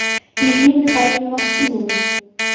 ирине михайловне максимовой